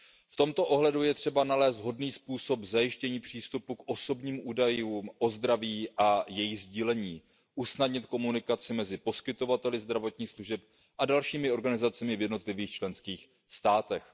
V tomto ohledu je třeba nalézt vhodný způsob zajištění přístupu k osobním údajům o zdraví a jejich sdílení, usnadnit komunikaci mezi poskytovateli zdravotních služeb a dalšími organizacemi v jednotlivých členských státech.